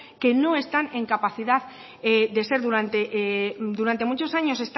que no están en capacidad de ser durante muchos años